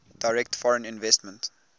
direct foreign investment